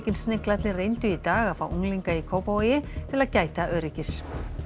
Sniglarnir reyndu í dag að fá unglinga í Kópavogi til að gæta öryggis